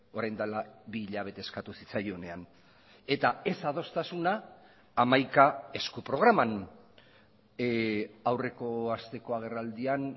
orain dela bi hilabete eskatu zitzaionean eta ez adostasuna hamaika esku programan aurreko asteko agerraldian